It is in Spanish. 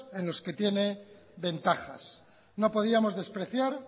en los que tiene ventajas no podíamos despreciar